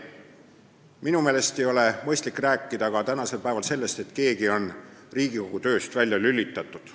Minu meelest ei ole mõistlik rääkida ka tänasel päeval sellest, et keegi on Riigikogu tööst välja lülitatud.